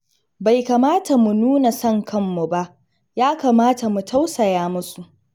Bai kamata mu nuna san kanmu ba, ya kamata mu tausaya musu.